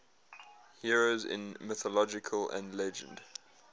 heroes in mythology and legend